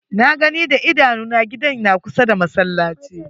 Na gani da idanu na, gidan na kusa da masallaci.